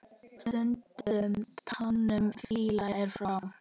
Stundum tánum fýla er frá.